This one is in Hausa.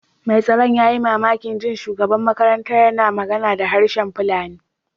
Mai tsaron ya yi mamakin jin shugaban makarantar yana magana da harshen Fulani.